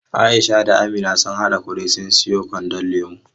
Aisha da Amina sun haɗa kuɗi sun sayo wando lemo.